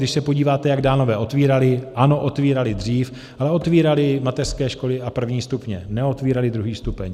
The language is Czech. Když se podíváte, jak Dánové otvírali, ano, otvírali dřív, ale otvírali mateřské školy a první stupně, neotvírali druhý stupeň.